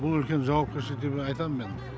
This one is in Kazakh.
бұл үлкен жауапкершілік деп айтам мен